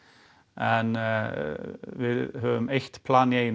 en við höfum eitt plan í einu